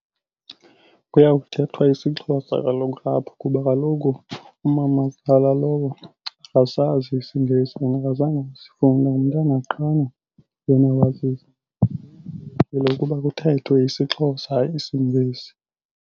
Kuya kuthethwa isiXhosa kaloku apho kuba kaloku umamazala lowo akasazi isiNgesi and akazange asifunde. Ngumntana qha yena wazi kubheteke kuthethwe isiXhosa hayi isiNgesi.